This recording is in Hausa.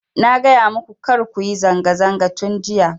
Na gaya maku kar kuyi zanga zanga tun jiya